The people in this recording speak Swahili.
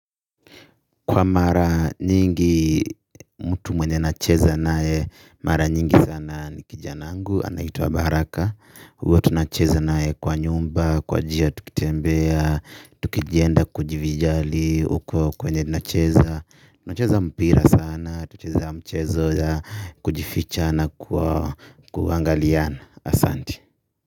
Kwa mara nyingi, mtu mwenye nacheza naye, mara nyingi sana ni kijana wangu, anaitwa baraka. Huwa tunacheza naye kwa nyumba, kwa njia tukitembea, tukienda kujivijali, huko kwenye nacheza nacheza mpira sana, tacheza mchezo ya kujificha na kuangaliana. Asanti.